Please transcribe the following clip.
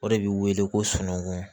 O de bɛ wele ko sunɔgɔ